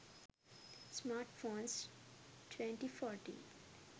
smartphones 2014